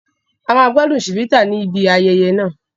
A máa gbádùn Chivita ní ibi ayẹyẹ náà